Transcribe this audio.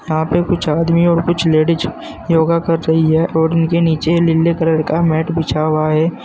यहां पे कुछ आदमी और कुछ लेडिस योगा कर रही है और इनके नीचे लीले कलर का मैट बिछा हुआ है।